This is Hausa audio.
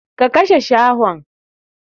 Ka kashe shahon!